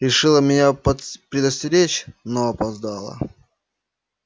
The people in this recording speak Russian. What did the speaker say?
решила меня под предостеречь но опоздала